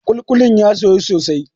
kulikulin ya soyu sosai